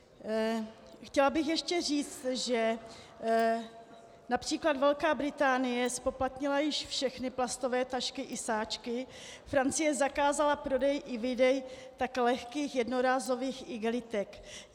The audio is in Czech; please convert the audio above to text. Chtěla bych ještě říct, že například Velká Británie zpoplatnila již všechny plastové tašky i sáčky, Francie zakázala prodej i výdej také lehkých jednorázových igelitek.